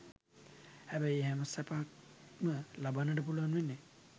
හැබැයි ඒ හැම සැපක්ම ලබන්නට පුළුවන් වෙන්නේ